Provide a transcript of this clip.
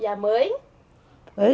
E a mãe?